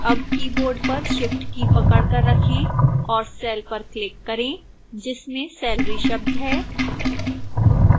अब keyboard पर shift की पकड़कर रखें और cell पर click करें जिसमें salary शब्द है